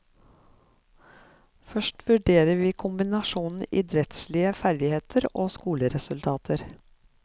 Først vurderer vi kombinasjonen idrettslige ferdigheter og skoleresultater.